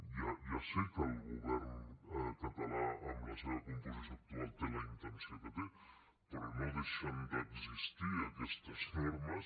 jo ja sé que el govern català amb la seva composició actual té la intenció que té però no deixen d’existir aquestes normes